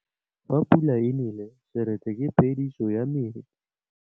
Fa pula e nelê serêtsê ke phêdisô ya metsi.